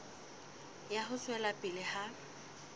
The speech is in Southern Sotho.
ya ho tswela pele ha